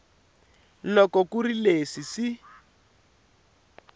loko ku ri leswi swi